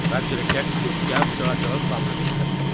ରାଜ୍ୟରେ ଟ୍ୟାକ୍ସି ଓ କ୍ୟାବ୍ ଚଳାଚଳ ସ୍ୱାଭାବିକ୍ ହେବ।